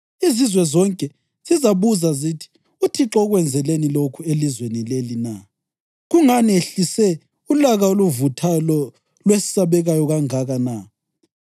Izizwe zonke zizabuza zithi: ‘ UThixo ukwenzeleni lokhu elizweni leli na? Kungani ehlise ulaka oluvuthayo lolwesabekayo kangaka na?’